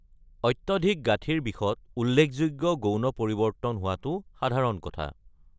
অত্যাধিক গাঁঠিৰ বিষত উল্লেখযোগ্য গৌণ পৰিৱৰ্তন হোৱাটো সাধাৰণ কথা।